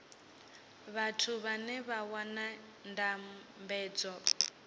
vhathu vhane vha wana ndambedzo